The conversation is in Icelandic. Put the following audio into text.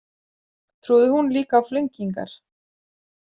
Trúði hún líka á flengingar?